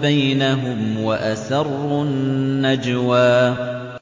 بَيْنَهُمْ وَأَسَرُّوا النَّجْوَىٰ